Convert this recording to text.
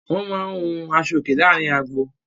Wọ́n máa ń hun aṣọòkè láàárin agbo.